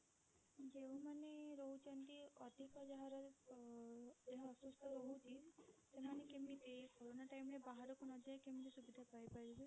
ଯେଉଁ ମାନେ ରହୁଛନ୍ତି ଅଧିକ ଯାହାର ଅ ଦେହ ଅସୁସ୍ଥ ରହୁଛି ସେମାନେ କେମିତି କୋରୋନ time ରେ ବାହାରକୁ ନଯାଇକି କେମିତି ସୁବିଧା ପାଇପାରିବେ?